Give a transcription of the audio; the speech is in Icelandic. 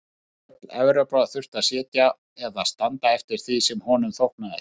Nær öll Evrópa þurfti að sitja eða standa eftir því sem honum þóknaðist.